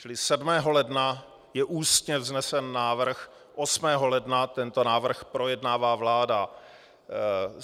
Čili 7. ledna je ústně vznesen návrh, 8. ledna tento návrh projednává vláda.